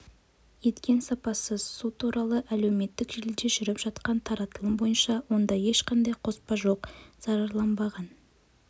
еткен сапасыз су туралы әлеуметтік желіде жүріп жатқан таратылым бойынша онда ешқандай қоспа жоқ зарарланбаған